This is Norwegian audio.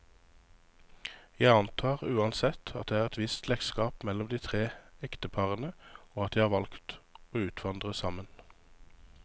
Jeg antar uansett, at det er et visst slektskap mellom de tre ekteparene, og at de har valgt å utvandre sammen.